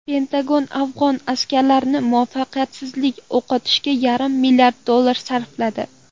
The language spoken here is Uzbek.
Pentagon afg‘on askarlarini muvaffaqiyatsiz o‘qitishga yarim milliard dollar sarfladi.